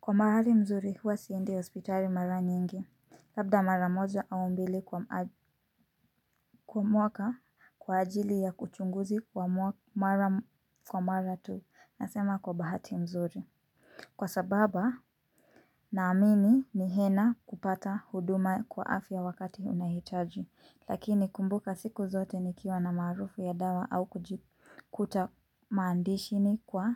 Kwa maradhi mzuri huwa siendi hospitali mara nyingi, labda mara moja au mbili kwa mwaka kwa ajili ya uchunguzi kwa mara tu nasema kwa bahati nzuri. Kwa sababa naamini ni hena kupata huduma kwa afya wakati unahitaji. Lakini kumbuka siku zote nikiwa na marufu ya dawa au kujikuta mandishini kwa